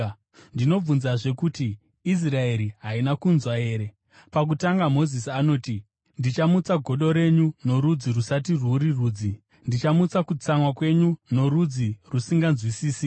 Ndinobvunzazve kuti: Israeri haina kunzwa here? Pakutanga Mozisi anoti, “Ndichamutsa godo renyu norudzi rusati rwuri rudzi; ndichamutsa kutsamwa kwenyu norudzi rusinganzwisisi.”